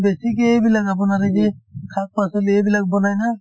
বেছিকে এইবিলাক আপোনাৰ এই যে শাক-পাচলি এইবিলাক বনাই না